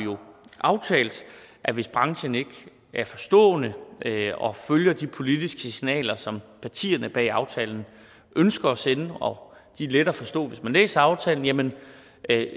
aftalt at hvis branchen ikke er forstående og følger de politiske signaler som partierne bag aftalen ønsker at sende og de er lette at forstå hvis man læser aftalen jamen